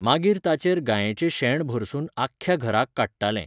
मागीर ताचेर गायेचें शेण भरसुन आख्ख्या घराक काडटाले.